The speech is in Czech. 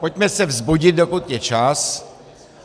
Pojďme se vzbudit, dokud je čas.